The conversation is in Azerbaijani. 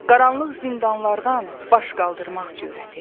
Qaranlıq zindanlardan baş qaldırmaq cürəti.